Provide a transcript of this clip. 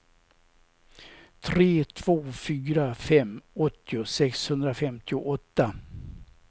tre två fyra fem åttio sexhundrafemtioåtta